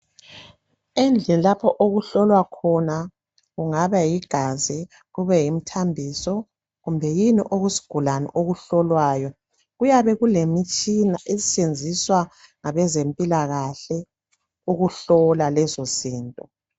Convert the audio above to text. Endlini lapho okuhlolwa khona kungaba yigazi kube yimithambiso kumbe yini okwesigulane okuhlolwayo kuyabe kulemitshina esetshenziswa ngabezempilakhe ukuhlola lezo zinto.